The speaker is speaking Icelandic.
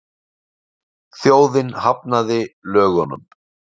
Þjóðin hafnaði lögunum